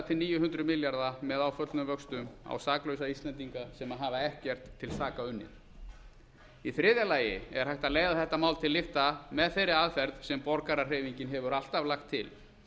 til níu hundruð milljóna með áföllnum vöxtum á saklausa íslendinga sem hafa ekkert til saka unnið í þriðja lagi er hægt að leiða þetta mál til lykta með þeirri aðferð sem borgarahreyfingin hefur alltaf lagt til